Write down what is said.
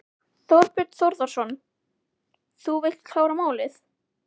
Þorbjörn Þórðarson: Þú vilt klára málið?